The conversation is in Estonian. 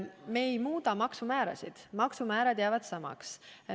Me ei muuda maksumäärasid, need jäävad samaks.